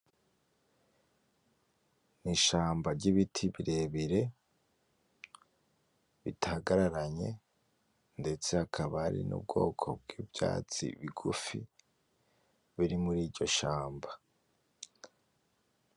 Mu ishamba ry’ibiti birebire bitagararanye ndetse hakaba hari n'ubwoko bw'ivyatsi bigufi biri muri iryo shamba.